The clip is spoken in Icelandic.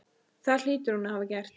Það hlýtur hún að hafa gert.